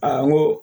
Aa n ko